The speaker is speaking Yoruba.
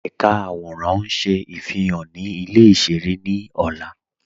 Ẹ̀ká àwọ̀rán ń ṣé ifihan ni ilẹ̀ ìṣẹ̀rẹ̀ ni ọ̀là.